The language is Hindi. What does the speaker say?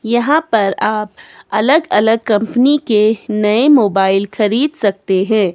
यहां पर आप अलग अलग कंपनी के नए मोबाइल खरीद सकते हैं।